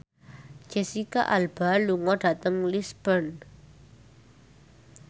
Jesicca Alba lunga dhateng Lisburn